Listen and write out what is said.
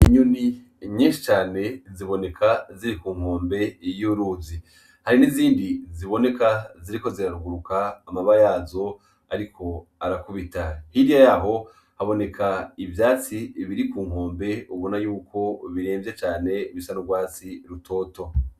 Inyuni inyenshi cane ziboneka ziri ku nkombe iyouruzi hari n'izindi ziboneka ziriko ziraruguruka amaba yazo, ariko arakubita hirya yaho haboneka ivyatsi biri ku nkombe ubona yuko biremvye cane bisarurwasi rutoto.